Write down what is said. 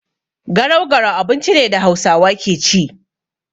Garau-garau abinci ne da Hausawa ke ci.